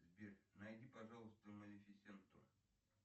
сбер найди пожалуйста малефисенту